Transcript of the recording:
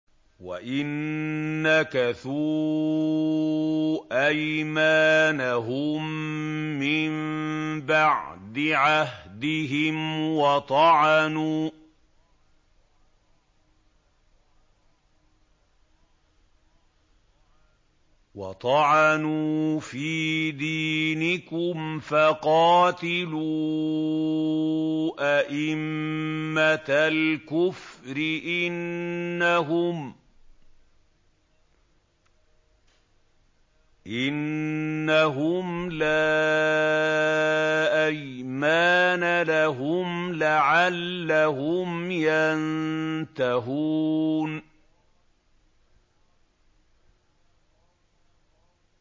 وَإِن نَّكَثُوا أَيْمَانَهُم مِّن بَعْدِ عَهْدِهِمْ وَطَعَنُوا فِي دِينِكُمْ فَقَاتِلُوا أَئِمَّةَ الْكُفْرِ ۙ إِنَّهُمْ لَا أَيْمَانَ لَهُمْ لَعَلَّهُمْ يَنتَهُونَ